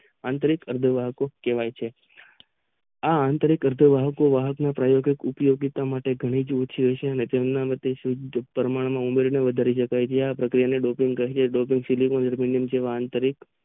આતરિક અર્ધવાહકો કહેવાય છે. આ આતરિક અર્ધવાહકો વાહકો ના પ્રાયોગિક ઉપીયોગીતા માટે ઘણી જ ઓછી હશે અને તેમના મતે શુદ્ધ પ્રમાણ માં ઉમેરેલી વધારી શકાય છે આ પ્રક્રિયા ને ડોપિંગ કહે છે. ડોપિંગ સિલિકોન, ઝેરમેનિયમ જેવા આંતરિક